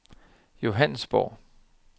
Johannesborg